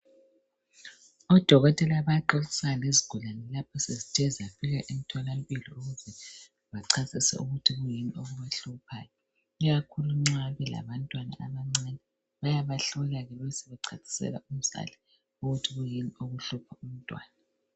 Odokotela bayaxoxisana lezigulani lapho sezithe zafika ethola mpilo bachasisa ukuthi kuyini okubahluphayo ikakhulu nxa elabantwana abancane bayabahlola besebechasisela umzali ukuthi kuyini okuhlupha umtwana